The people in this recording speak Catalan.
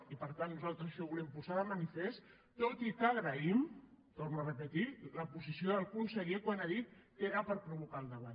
i per tant nosaltres això ho volem posar de manifest tot i que agraïm ho torno a repetir la posició del conseller quan ha dit que era per provocar el debat